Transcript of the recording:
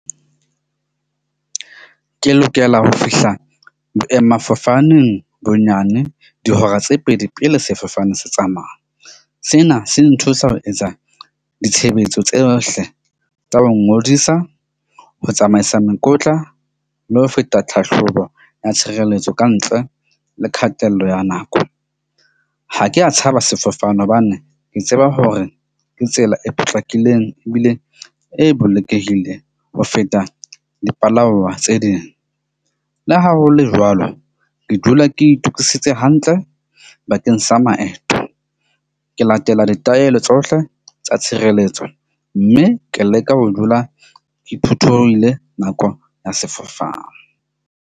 Ke lokela ho fihla boemafofaneng bonyane dihora tse pedi pele sefofane se tsamaya. Sena se nthusa ho etsa ditshebetso tsohle tsa ho ngodisa ho tsamaisa mekotla, mme ho feta tlhahlobo ya tshireletso ka ntle le kgatello ya nako. Ha ke a tshaba sefofane hobane ke tseba hore ke tsela e potlakileng. Ebile e bolokehile ho feta dipalangwang tse ding. Le ha ho le jwalo, ke dula ke itokisitse hantle bakeng sa maeto. Ke latela ditaelo tsohle tsa tshireletso, mme ke leka ho dula ke phuthulohile nako ya sefofane.